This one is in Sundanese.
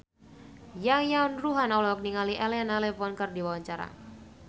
Yayan Ruhlan olohok ningali Elena Levon keur diwawancara